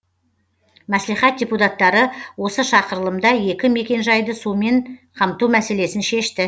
мәслихат депутаттары осы шақырылымда екі мекенжайды сумен қамту мәселесін шешті